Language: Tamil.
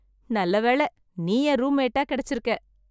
நல்லவேளை நீ என் ரூம் மேட்டா கெடச்சிருக்க